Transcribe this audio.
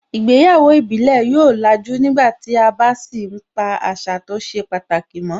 Ìgbéyàwó ìbílẹ̀ yóò làjú nígbàtí a bá sì ń pa àṣà tó ṣe pàtàkì mọ́